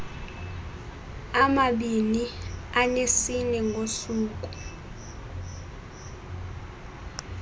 amabini anesine ngosuku